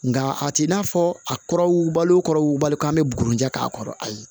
Nka a t'i n'a fɔ a kɔrɔ wugubali kɔrɔbali ko an bɛ buruncɛ k'a kɔrɔ ayi